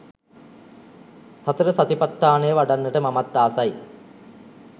සතර සතිපට්ඨානය වඩන්නට මමත් ආසයි.